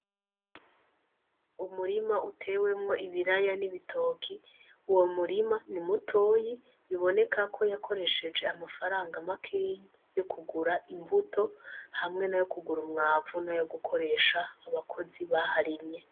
Umurima utewemwo ibiraya n'ibitoki uwo murima n'imutoyi biboneka ko yakoresheje amafaranga makeyi yokugura imbuto hamwe nayo kugura umwavu nayo gukoresha abakozi baharimye